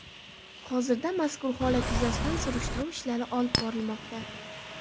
Hozirda mazkur holat yuzasidan surishtiruv ishlari olib borilmoqda.